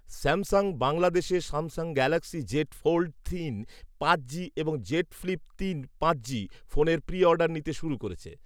Samsung বাংলাদেশে Samsung Galaxy Z Fold তিন পাঁচ জি এবং জেড ফ্লিপ তিন পাঁচ জি ফোনের প্রি অর্ডার নিতে শুরু করেছে